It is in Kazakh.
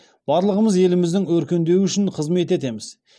барлығымыз еліміздің өркендеуі үшін қызмет етеміз